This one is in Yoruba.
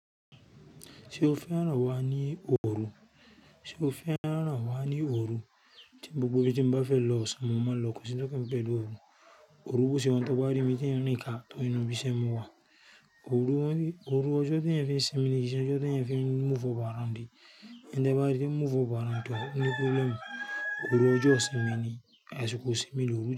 Ṣé o fẹ́ rán wa ní òru? Sé o fẹ́ rán wa ní òru? Tí gbogbo ibi tí n bá fẹ́ lọ, ọ̀sán mo máa n lọ kòsí n tó kànmí pẹ̀lú òru. Òru bo se wa un tó bá rí mi tí ń rìn ká tó ibise n mọ̀ wa. Òru, ọjọ́ tí eyan ń fi sin mini, kí i ṣe ọjọ́ tí ẹ̀ ń fi move up around. Tí n bá rí kí n move up around, tó ní problem. Òru ọjọ́ sinmi ni, àsìkò sinmi lórí òru.